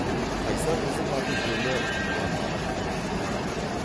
қайсар қыздың аты жөні анар рахымжанова